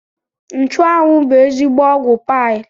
Nchụanwụ bụ ezigbo ọgwụ paịl